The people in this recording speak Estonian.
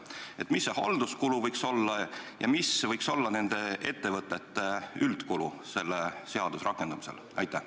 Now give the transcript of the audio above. Milline see halduskulu võiks olla ja milline võiks olla nende ettevõtete üldkulu selle seaduse rakendumisel?